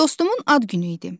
Dostumun ad günü idi.